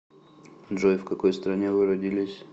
джой в какой стране вы родились